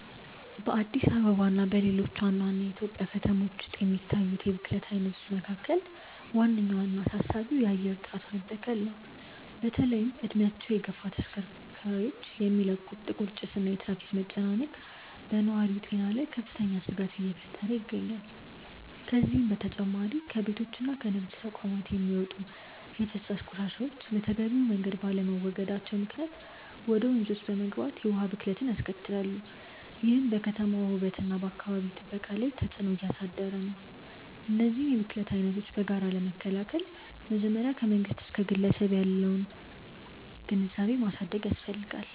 በአዲስ አበባ እና በሌሎች ዋና ዋና የኢትዮጵያ ከተሞች ውስጥ ከሚታዩት የብክለት አይነቶች መካከል ዋነኛውና አሳሳቢው የአየር ጥራት መበከል ነው። በተለይም እድሜያቸው የገፉ ተሽከርካሪዎች የሚለቁት ጥቁር ጭስ እና የትራፊክ መጨናነቅ በነዋሪው ጤና ላይ ከፍተኛ ስጋት እየፈጠረ ይገኛል። ከዚህም በተጨማሪ ከቤቶችና ከንግድ ተቋማት የሚወጡ የፍሳሽ ቆሻሻዎች በተገቢው መንገድ ባለመወገዳቸው ምክንያት ወደ ወንዞች በመግባት የውሃ ብክለትን ያስከትላሉ፤ ይህም በከተማዋ ውበትና በአካባቢ ጥበቃ ላይ ትልቅ ተጽዕኖ እያሳደረ ነው። እነዚህን የብክለት አይነቶች በጋራ ለመከላከል መጀመሪያ ከመንግስት እስከ ግለሰብ ድረስ ያለውን ግንዛቤ ማሳደግ ያስፈልጋል።